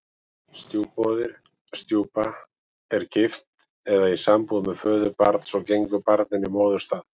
Stjúpmóðir, stjúpa, er gift eða í sambúð með föður barns og gengur barninu í móðurstað.